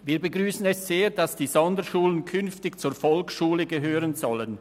Wir begrüssen es sehr, dass die Sonderschulen künftig zur Volksschule gehören sollen.